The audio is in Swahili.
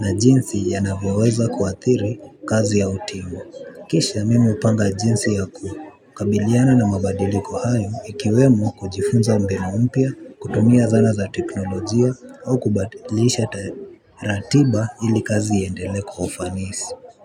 na jinsi yanavyo weza kuathiri kazi ya utimu. Kisha mimi hupanga jinsi ya kukabiliana na mabadiliko hayo ikiwemo kujifunza mbina mpya, kutumia zana za teknolojia au kubadilisha ratiba ili kazi iendelee kwa ufanisi.